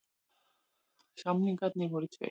Samningarnir voru tveir